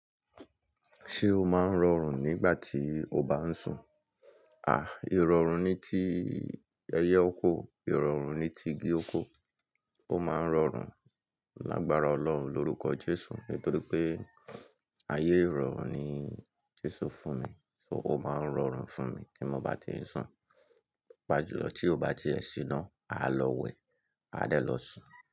Ṣé o máa ń rọrùn nígbà tí o bá ń sùn? Ìrọrùn ni tí ẹyẹ oko, ìrọrùn ni ti igi oko. Ó máa ń rọrùn lágbára Ọlọ́run lórúkọ Jésù. Nítorí pé ayé rọrùn ni Jésù fún mi, so ó máa ń rọrùn fún ti mo bá ti ń sùn. Papa jùlọ tí ó bá ti ẹ sì ná, a lọ wẹ̀, a dẹ́ lọ sùn.